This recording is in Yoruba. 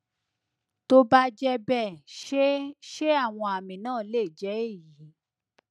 tó bá jẹ bẹẹ ṣé ṣé àwọn àmì náà lè jẹ èyí